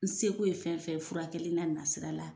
N seko ye fɛn fɛn ye furakɛli n'a na sira la